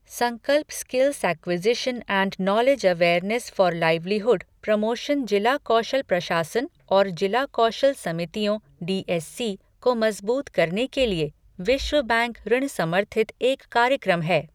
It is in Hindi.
संकल्प skills acquisition and knowledge awareness for livelihood promotion जिला कौशल प्रशासन और जिला कौशल समितियों डीएससी को मजबूत करने के लिए विश्व बैंक ऋण समर्थित एक कार्यक्रम है।